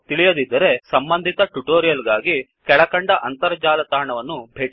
ತಿಳಿದಿರದಿದ್ದಲ್ಲಿ ಸಂಬಂಧಿತ ಟ್ಯುಟೋರಿಯಲ್ ಗಾಗಿ ಕೆಳಕಂಡ ಅಂತರ್ಜಾಲ ತಾಣವನ್ನು ಭೇಟಿಕೊಡಿ